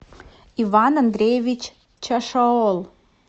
иван андреевич чашоол